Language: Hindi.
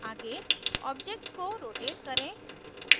आगे object को rotate करें